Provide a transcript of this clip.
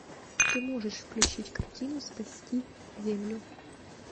ты можешь включить картину спасти землю